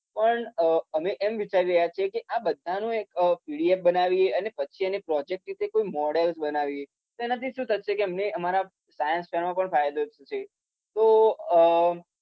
તો અમ પણ અમે એમ વિચારી રહ્યા છે કે આ બધાનો એક પીડીએફ બનાવીએ. અને પછી એને પ્રોજેક્ટ રીતે કોઈ મોડલ બનાવીએ. તો એનાથી શું થશે કે અમને અમારા સાયન્સવાળાનો પણ ફાયદો થશે.